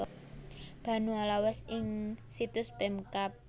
Banua Lawas ing situs Pemkab